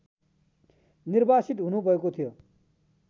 निर्वासित हुनुभएको थियो